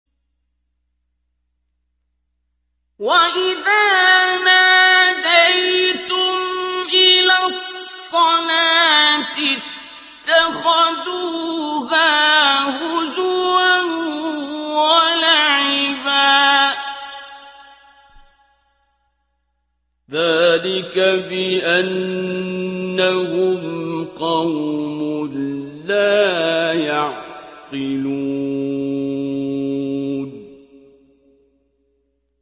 وَإِذَا نَادَيْتُمْ إِلَى الصَّلَاةِ اتَّخَذُوهَا هُزُوًا وَلَعِبًا ۚ ذَٰلِكَ بِأَنَّهُمْ قَوْمٌ لَّا يَعْقِلُونَ